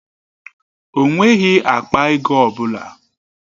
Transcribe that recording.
O nweghị akpa ego ọ bụla.